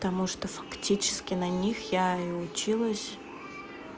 потому что фактически на них я и училась